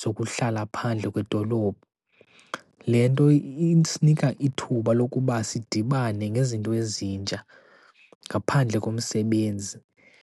zokuhlala phandle kwedolophu. Le nto isinika ithuba lokuba sidibane ngezinto ezintsha ngaphandle komsebenzi.